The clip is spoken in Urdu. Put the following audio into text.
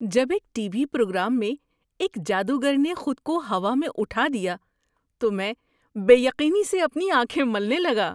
جب ایک ٹی وی پروگرام میں ایک جادوگر نے خود کو ہوا میں اٹھا دیا تو میں بے یقینی سے اپنی آنکھیں ملنے لگا۔